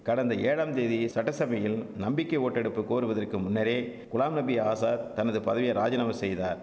கடந்த ஏழாம்தேதி சட்டசபையில் நம்பிக்கை ஓட்டெடுப்பு கோருவதற்கு முன்னரே குலாம் நபி ஆசாத் தனது பதவிய ராஜினாமா செய்தார்